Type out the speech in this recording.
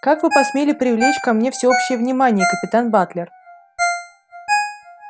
как вы посмели привлечь ко мне всеобщее внимание капитан батлер